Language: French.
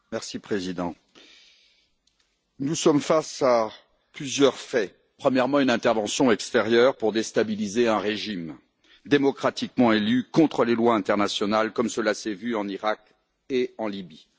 Monsieur le Président, nous sommes face à plusieurs faits. Premièrement, une intervention extérieure pour déstabiliser un régime démocratiquement élu, contre les lois internationales, comme cela s'est vu en Iraq et en Libye.